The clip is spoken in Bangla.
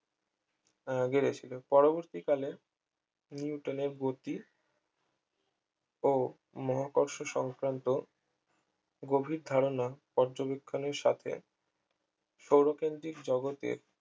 আহ গেড়েছিল পরবর্তীকালে নিউটনের গতি ও মহাকর্ষ সংক্রান্ত গভীর ধারণা পর্যবেক্ষণের সাথে সৌরকেন্দ্রিক জগতে